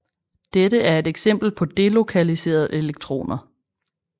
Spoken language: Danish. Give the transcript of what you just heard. Dette er et eksempel på delokaliserede elektroner